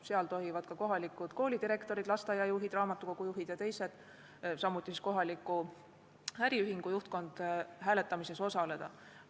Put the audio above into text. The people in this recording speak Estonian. Seal tohivad ka kohalikud koolidirektorid, lasteaiajuhid, raamatukogujuhid ja teised, samuti kohaliku äriühingu juhtkond hääletamisel osaleda.